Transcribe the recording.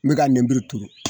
N be ka nemuru turu